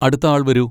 അടുത്ത ആൾ വരൂ.